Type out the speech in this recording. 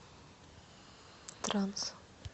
транс